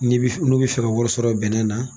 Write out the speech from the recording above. N'i bi n'u bɛ fɛ ka wari sɔrɔ bɛnnɛ na.